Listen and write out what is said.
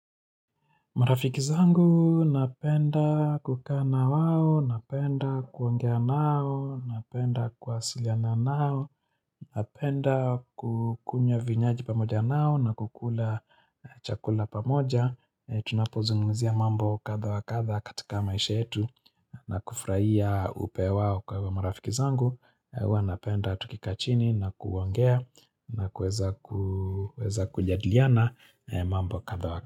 Marafiki zangu napenda kukaa na wao, napenda kuongea nao, napenda kuwasiliana nao, napenda kukunywa vinywaji pamoja nao na kukula chakula pamoja. Tunapozungumzia mambo katdha wa kadha katika maisha yetu na kufurahia upe wao kwa hivo marafiki zangu. Uwa napenda tukikaa chini na kuongea na kuweza kujiadiliana mambo kadha wa kadha.